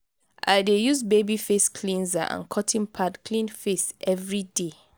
i dey use baby face cleanser and cotton pad clean face everyday.